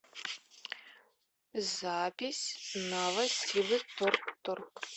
запись новосибвторторг